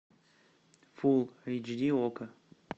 фул эйч ди окко